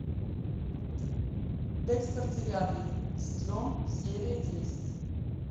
декстер девятый сезон серия десять